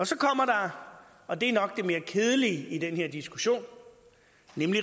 så kommer der og det er nok det mere kedelige i den her diskussion